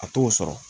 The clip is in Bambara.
A t'o sɔrɔ